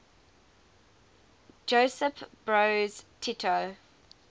josip broz tito